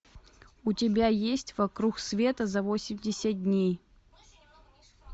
у тебя есть вокруг света за восемьдесят дней